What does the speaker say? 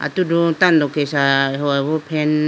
atudu tando kesha ahoyi bo fan .